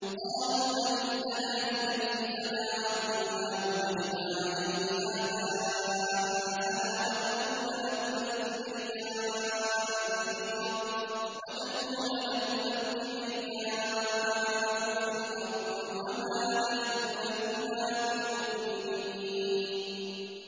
قَالُوا أَجِئْتَنَا لِتَلْفِتَنَا عَمَّا وَجَدْنَا عَلَيْهِ آبَاءَنَا وَتَكُونَ لَكُمَا الْكِبْرِيَاءُ فِي الْأَرْضِ وَمَا نَحْنُ لَكُمَا بِمُؤْمِنِينَ